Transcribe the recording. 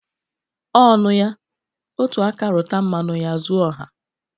Ọ nụya, otu aka rụta mmanụ ya zu ọha.